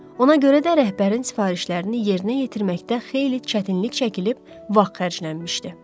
Ona görə də rəhbərin sifarişlərini yerinə yetirməkdə xeyli çətinlik çəkilib vaxt xərclənmişdi.